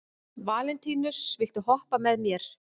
Valentínus, viltu hoppa með mér?